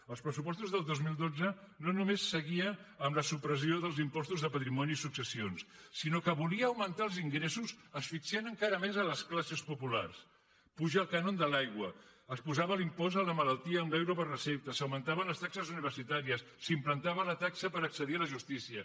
els pressupostos del dos mil dotze no només seguien amb la supressió dels impostos de patrimoni i successions sinó que volien augmentar els ingressos asfixiant encara més les classes populars s’apuja el cànon de l’aigua s’apujava l’impost a la malaltia amb l’euro per recepta s’augmentaven les taxes universitàries s’implantava la taxa per accedir a la justícia